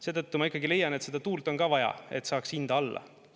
Seetõttu ma ikkagi leian, et seda tuult on ka vaja, et saaks hinda alla.